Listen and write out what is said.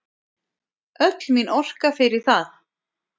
Öll mín orka fer í það.